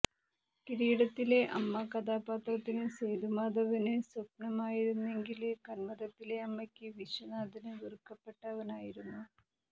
കിരീടത്തിലെ അമ്മ കഥാപാത്രത്തിന് സേതുമാധവന് സ്വപ്നമായിരുന്നെങ്കില് കന്മദത്തിലെ അമ്മയ്ക്ക് വിശ്വനാഥന് വെറുക്കപ്പെട്ടവനായിരുന്നു